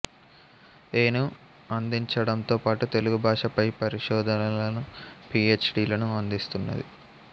ఏ ను అందించడంతో పాటు తెలుగు భాష పై పరిశోధనలను పీ హెచ్ డి లను అందిస్తున్నది